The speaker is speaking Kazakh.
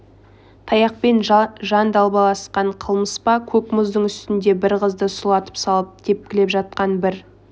таяқпен жан далбасалаған қылмыс па көк мұздың үстіне бір қызды сұлатып салып тепкілеп жатқан бір